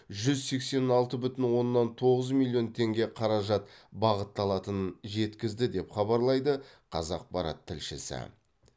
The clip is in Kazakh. жүз сексен алты бүтін оннан тоғыз миллион теңге қаражат бағытталатынын жеткізді деп хабарлайды қазақпарат тілшісі